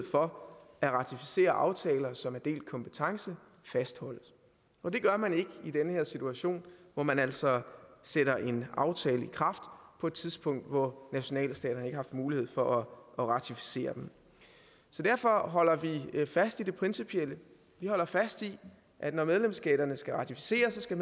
for at ratificere aftaler som er delt kompetence fastholdes og det gør man ikke i den her situation hvor man altså sætter en aftale i kraft på et tidspunkt hvor nationalstaterne ikke har haft mulighed for at ratificere den så derfor holder vi fast i det principielle vi holder fast i at når medlemsstaterne skal ratificere så skal